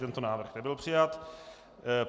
Tento návrh nebyl přijat.